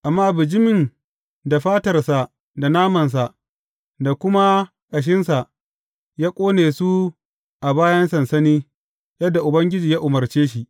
Amma bijimin da fatarsa da namansa da kuma ƙashinsa ya ƙone su a bayan sansani, yadda Ubangiji ya umarce shi.